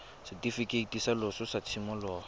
setifikeiti sa loso sa tshimologo